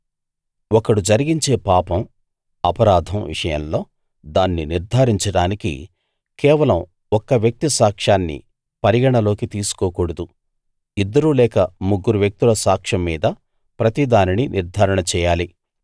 ఒకడు జరిగించే పాపం అపరాధం విషయంలో దాన్ని నిర్ధారించడానికి కేవలం ఒక్క వ్యక్తి సాక్ష్యాన్ని పరిగణలోకి తీసుకోకూడదు ఇద్దరు లేదా ముగ్గురు వ్యక్తుల సాక్ష్యం మీద ప్రతి దానినీ నిర్థారణ చేయాలి